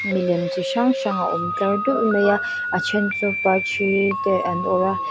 milem chi hrang hrang a awm tlar dulh mai a a then chu par thi te an awrh a.